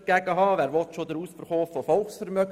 Wer will denn schon den Ausverkauf von Volksvermögen?